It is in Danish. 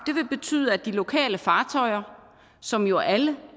vil betyde at de lokale fartøjer som jo alle